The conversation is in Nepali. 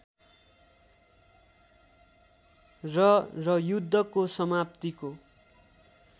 र र युद्धको समाप्तिको